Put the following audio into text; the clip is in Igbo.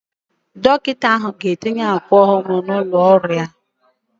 Dọkịta ahụ ga-etinye akwa ọhụrụ n'ụlọ ọrụ ya